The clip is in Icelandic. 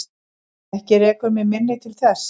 Ekki rekur mig minni til þess.